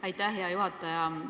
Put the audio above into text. Aitäh, hea juhataja!